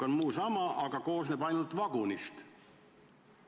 Kõik muu on sama, aga rong koosneb ainult vagunist.